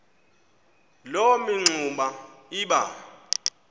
loo mingxuma iba